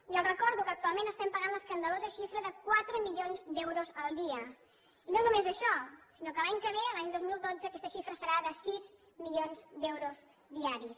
i els recordo que actualment estem pagant l’escandalosa xifra de quatre milions d’euros al dia i no només això sinó que l’any que ve l’any dos mil dotze aquesta xifra serà de sis milions d’euros diaris